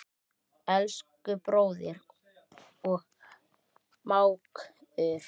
Elsku bróðir og mágur.